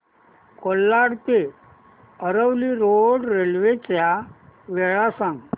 कोलाड ते Aravali road railway च्या वेळा सांग